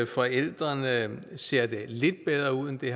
forældrene ser det lidt bedre ud end det